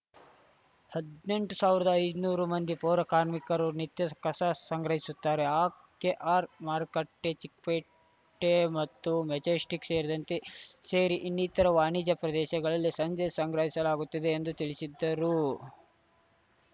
ಹದ್ನೆಂಟು ಸಾವಿರದ ಐನೂರು ಮಂದಿ ಪೌರ ಕಾರ್ಮಿಕರು ನಿತ್ಯ ಕಸ ಸಂಗ್ರಹಿಸುತ್ತಾರೆ ಆಕೆಆರ್‌ಮಾರ್ಕಟ್ಟೆ ಚಿಕ್ಕಪೇಟೆ ಮತ್ತು ಮೆಜೆಸ್ಟಿಕ್‌ ಸೇರಿದಂತೆ ಸೇರಿ ಇನ್ನಿತರ ವಾಣಿಜ್ಯ ಪ್ರದೇಶಗಳಲ್ಲಿ ಸಂಜೆ ಸಂಗ್ರಹಿಸಲಾಗುತ್ತದೆ ಎಂದು ತಿಳಿಸಿದ್ದರು